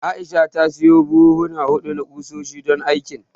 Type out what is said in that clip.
Aisha ta sayo buhuhuna huɗu na ƙusoshi, don aikin.